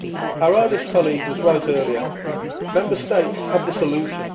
Our Irish colleague was right earlier Member States have the solution.